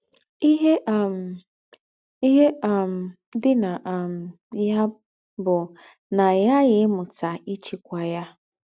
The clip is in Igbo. “ Íhe um “ Íhe um dì ná um yà bù ná í ghààghì ímútà íchíkwà ya. ”